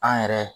An yɛrɛ